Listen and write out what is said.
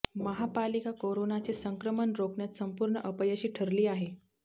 महापालिका कोरोनाचे संक्रमण रोखण्यात संपूर्ण अपयशी ठरली आहे